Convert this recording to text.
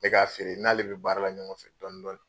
N be k'a feere, n'ale be baara la ɲɔgɔn fɛ dɔndɔni.